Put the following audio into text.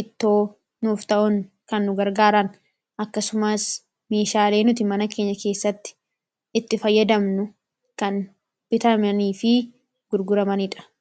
iddoo nuuf ta'un kan gargaaran akkasumaas meeshaalee nuti mana keenya keessatti itti fayyadamnu kan bitamanii fi gurguramaniidha.